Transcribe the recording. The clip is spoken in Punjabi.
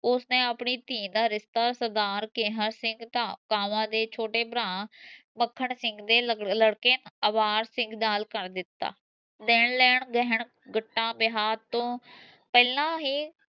ਓਸਨੇ ਆਪਣੀ ਧੀ ਦਾ ਰਿਸ਼ਤਾ ਸਰਦਾਰ ਕੇਹਰ ਸਿੰਘ ਦੇ ਛੋਟੇ ਭਰਾ ਮੱਖਣ ਸਿੰਘ ਦੇ ਲੜਕੇ ਅਵਾਜ ਸਿੰਘ ਨਾਲ ਕਰ ਦਿਤਾ ਦੇਣ ਲੈਣ ਵਿਆਹ ਤੋਂ ਪਹਿਲਾਂ ਹੀ